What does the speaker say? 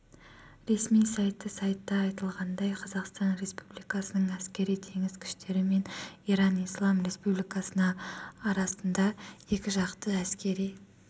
ресми сайты сайтта айтылғандай қазақстан республикасының әскери-теңіз күштері мен иран ислам республикасы арасында екіжақты әскери